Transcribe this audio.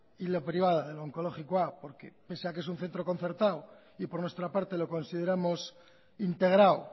y la privada del onkologikoa pese a que es un centro concertado y por nuestra parte lo consideramos integrado